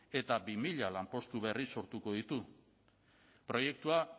eta bi mila lanpostu berri sortuko ditu proiektua